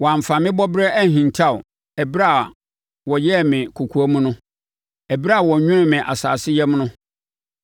Wɔamfa me bɔberɛ anhinta wo ɛberɛ a wɔyɛɛ me kɔkoam no; ɛberɛ a wɔnwonoo me asase yam no,